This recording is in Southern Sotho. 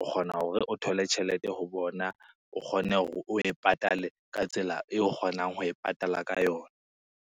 o kgona hore o thole tjhelete ho bona, o kgone hore o e patale ka tsela eo o kgonang ho e patala ka yona.